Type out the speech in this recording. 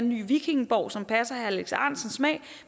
ny vikingeborg som passer herre alex ahrendtsens smag